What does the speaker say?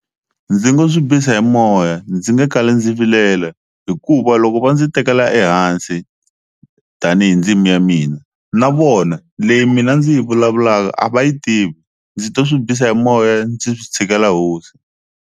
Ndzi nga swi bisa hi moya ndzi nge kali ndzi vilela hikuva loko va ndzi tekela ehansi tanihi ndzimi ya mina na vona leyi mina ndzi yi vulavulaka a va yi tivi ndzi to swi bisa hi moya ndzi tshikela hosi.